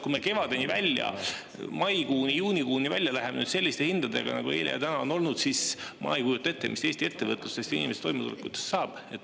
Kui me kevadeni, maikuuni, juunikuuni välja läheme selliste hindadega, nagu eile ja täna on olnud, siis ma ei kujuta ette, mis Eesti ettevõtlusest, inimeste toimetulekust saab.